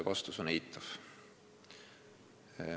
Vastus on eitav.